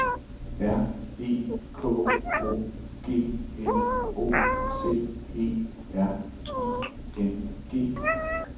R E K O G N O C E R I N G